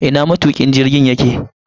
Ina matukin jirgin yake?